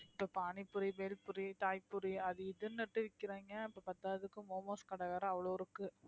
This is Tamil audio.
இப்ப panipuri belpuri அது இதுன்னுட்டு விக்கிறாங்க இப்ப பத்தாததுக்கு momos கடை வேற அவ்வளவு இருக்கு